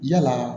Yalaa